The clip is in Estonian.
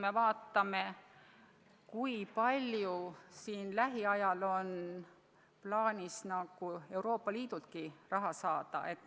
Aga vaatame, kui palju lähiajal on lootust Euroopa Liidultki raha saada.